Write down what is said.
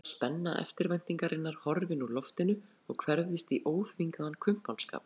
Brátt var spenna eftirvæntingarinnar horfin úr loftinu og hverfðist í óþvingaðan kumpánskap.